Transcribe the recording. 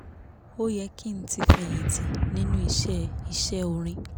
ó yẹ kí n ti fẹ̀yìntì nínú iṣẹ́ iṣẹ́ orin